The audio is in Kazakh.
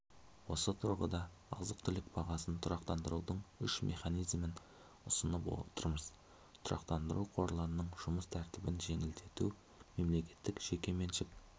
осы тұрғыда азық-түлік бағасын тұрақтандырудың үш механизмін ұсынып отырмыз тұрақтандыру қорларының жұмыс тәртібін жеңілдету мемлекеттік-жеке меншік